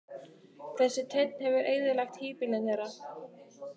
Þessi teinn hefur eyðilagt híbýlin þeirra.